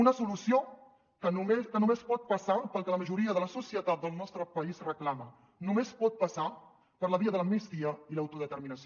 una solució que només pot passar pel que la majoria de la societat del nostre país reclama només pot passar per la via de l’amnistia i l’autodeterminació